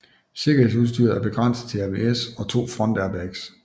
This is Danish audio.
Sikkerhedsudstyret er begrænset til ABS og to frontairbags